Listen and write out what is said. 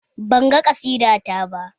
Banga ƙasida ta ba